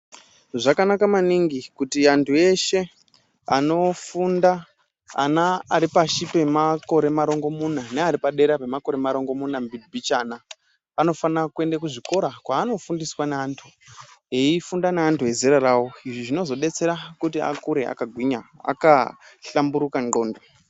Zvakanaka maningi kuti antu eshe anofunda ana aripashi pemakore marongomuna neari padera pemakore marongomuna mbichana. Anofanire kuenda kuzvikora kwanofundiswa neantu eifunda neantu ezera ravo, izvi zvinozobetsera kuti akure akagwinya akahlamburuka ndxondo.